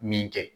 Min kɛ